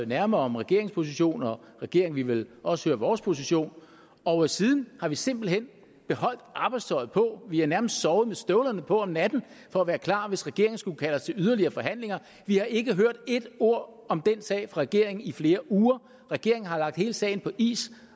nærmere om regeringens position og regeringen ville vel også høre vores position og siden har vi simpelt hen beholdt arbejdstøjet på vi har nærmest sovet med støvlerne på om natten for at være klar hvis regeringen skulle kalde os til yderligere forhandlinger vi har ikke hørt ét ord om den sag fra regeringen i flere uger regeringen har lagt hele sagen på is